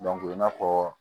i n'a fɔ